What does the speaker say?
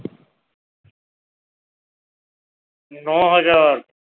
ন হাজার